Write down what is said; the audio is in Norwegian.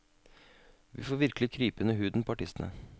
Vi får virkelig krype under huden på artistene.